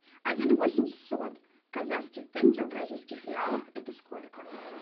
один восемьсот казахских тенге в бразильских реалах это сколько